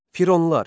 Fironlar.